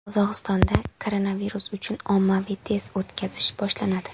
Qozog‘istonda koronavirus uchun ommaviy test o‘tkazish boshlanadi .